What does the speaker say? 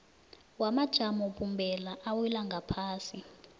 wamajamobumbeko awela ngaphasi